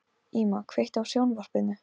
Íma, kveiktu á sjónvarpinu.